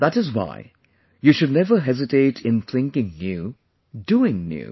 That is why you should never hesitate in thinking new, doing new